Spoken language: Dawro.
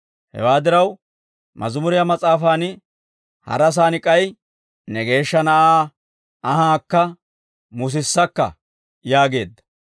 Hewaa diraw, Mazimuriyaa Mas'aafaan harasaan k'ay, ‹Ne Geeshsha Na'aa anhaakka musissakka› yaageedda.